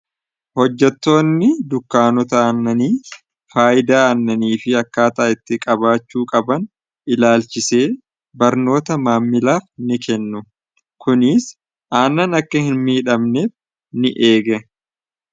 Hojjatoonni dukkaanota annanii faayidaa aannanii fi akkaataa itti qabaachuu qaban ilaalchisee barnoota maammilaaf ni kennu kuniis aannan akka hin miidhamneef ni eega.